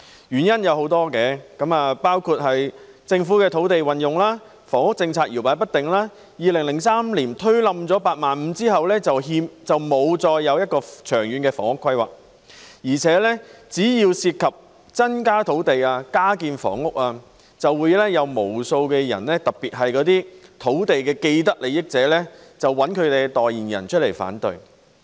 原因有多個，包括政府的土地運用、房屋政策搖擺不定 ，2003 年推倒"八萬五"後再沒有作出長遠的房屋規劃，而且只要涉及增加土地、加建房屋，便會有無數的人，特別是土地既得利益者，找來代言人提出反對。